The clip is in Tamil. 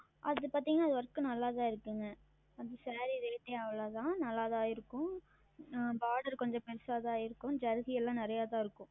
அது பார்த்தீர்கள் என்றால் Work நன்றாக தான் இருக்கிறது அந்த Saree Rate அவ்வளவு தான் நன்றாக தான் இருக்கும் ஆஹ் Border கொஞ்சம் பெரியதாக தான் இருக்கும் ஜரிகை எல்லாம் நிறையாக தான் இருக்கும்